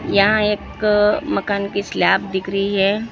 यहां एक मकान की स्लैब दिख रही है।